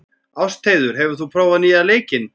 Ástheiður, hefur þú prófað nýja leikinn?